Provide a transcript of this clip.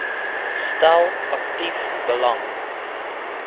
stel aktief belang